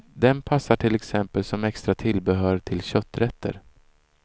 Den passar till exempel som extra tillbehör till kötträtter.